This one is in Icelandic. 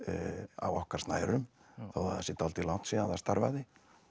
á okkar snærum þó það sé dálítið langt síðan það starfaði